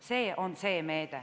See on see meede.